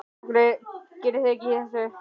Af hverju gerið þið ekkert í þessu?